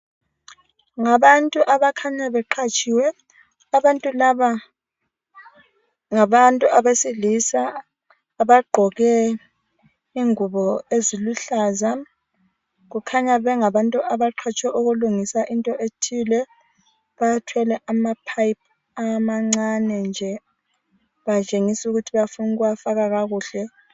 Ngabantu abakhanya beqhatshiwe abantu laba ngabantu abesilisa bagqoke ingubo eziluhlaza. Kukhanya bengabantu abaqhatshwe ukulungisa into ethile bathwele ama pipe amancane nje batshengisa ukuthi bafuna ukuwafaka kakuhle.